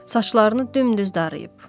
Saçlarını dümdüz darıyıb.